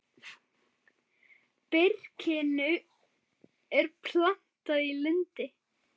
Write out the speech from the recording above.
Birkinu er plantað í lundi.